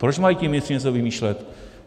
Proč mají ti ministři něco vymýšlet?